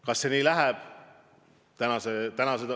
Kas see nii läheb?